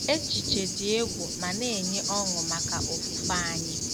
Echiche dị egwu ma na-enye ọṅụ maka ofufe anyị